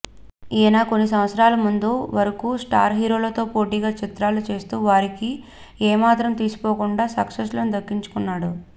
ఈయన కొన్ని సంవత్సరాల ముందు వరకు స్టార్ హీరోలతో పోటీగా చిత్రాలు చేస్తూ వారికి ఏమాత్రం తీసిపోకుండా సక్సెస్లను దక్కించుకున్నాడు